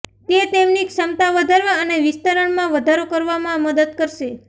તે તેમની ક્ષમતા વધારવા અને વિસ્તરણમાં વધારો કરવામાં મદદ કરશે